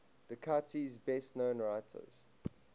dakota's best known writers